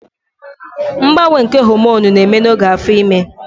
Mgbanwe nke homonụ na-eme n'oge afo ime